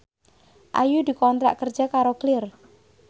Ayu dikontrak kerja karo Clear